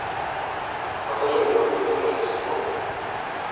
покажи мне улетное рождество